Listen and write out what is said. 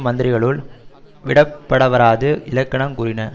மந்திரிகளுள் விடப்படவராது இலக்கணங் கூறின